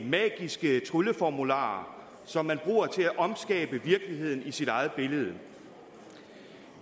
magiske trylleformularer som man bruger til at omskabe virkeligheden i sit eget billede